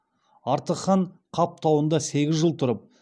артық хан қап тауында сегіз жыл тұрып